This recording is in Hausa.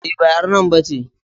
E, ba ƴar nan ba ce.